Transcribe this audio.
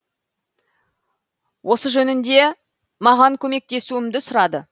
осы жөнінде маған көмектесуімді сұрады